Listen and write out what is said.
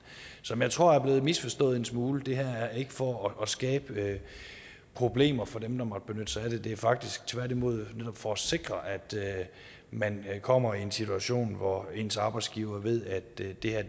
som jeg tror er blevet misforstået en smule det her er ikke for at skabe problemer for dem der måtte benytte sig af det det er faktisk tværtimod netop for at sikre at man kommer i en situation hvor ens arbejdsgiver ved at det her